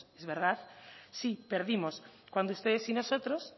es verdad sí perdimos cuando ustedes y nosotros